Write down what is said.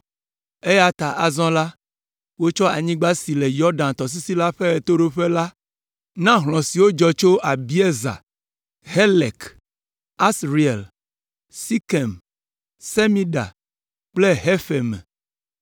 eya ta, azɔ la, wotsɔ anyigba si le Yɔdan tɔsisi la ƒe ɣetoɖoƒe la na hlɔ̃ siwo dzɔ tso Abiezer, Helek, Asriel, Sekem, Semida kple Hefer me.